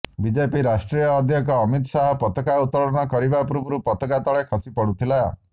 BJP ରାଷ୍ଟ୍ରୀୟ ଅଧ୍ୟକ୍ଷ ଅମିତ ଶାହା ପତାକା ଉତ୍ତୋଳନ କରିବା ପୂର୍ବରୁ ପତାକା ତଳେ ଖସି ପଡ଼ୁଥିଲା